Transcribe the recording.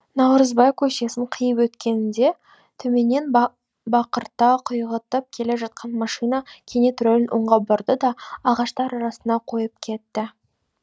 наурызбай көшесін қиып өткенімде төменнен бақырта құйғытып келе жатқан машина кенет рөлін оңға бұрды да ағаштар арасына қойып кетті